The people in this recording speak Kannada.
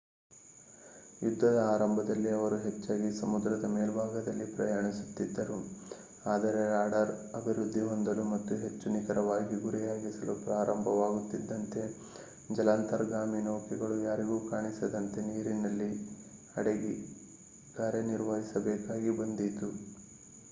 ಯುದ್ಧದ ಆರಂಭದಲ್ಲಿ ಅವರು ಹೆಚ್ಚಾಗಿ ಸಮುದ್ರದ ಮೇಲ್ಭಾಗದಲ್ಲಿ ಪ್ರಯಾಣಿಸುತ್ತಿದ್ದರು ಆದರೆ ರಾಡಾರ್ ಅಭಿವೃದ್ಧಿ ಹೊಂದಲು ಮತ್ತು ಹೆಚ್ಚು ನಿಖರವಾಗಿ ಗುರಿಯಾಗಿಸಲು ಪ್ರಾರಂಭವಾಗುತ್ತಿದ್ದಂತೆ ಜಲಾಂತರ್ಗಾಮಿ ನೌಕೆಗಳು ಯಾರಿಗೂ ಕಾಣಿಸದಂತೆ ನೀರಿನ ಅಡಿಯಲ್ಲಿ ಕಾರ್ಯನಿರ್ವಹಿಸಬೇಕಾಗಿ ಬಂದಿತು